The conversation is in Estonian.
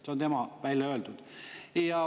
Tema on selle välja öelnud.